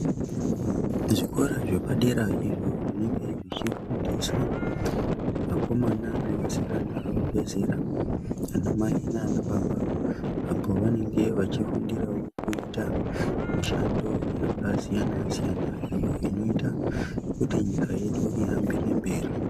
Zvikora zvepadera izvo zvinenge zvichifundiswa Vakomana nevasikana vabva zera ana mai nana baba apo pavanenge vachifundirawo kuita mishando yakasiyana-siyana iyo inoita nyika yedu ihambire mberi.